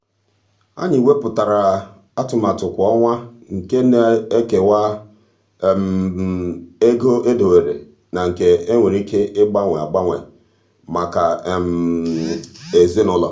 anyị wepuatara atụmatụ kwa ọnwa nke na-ekewa ego edobere na nke e nwere ike ịgbanwe agbanwe maka ezinụụlọ.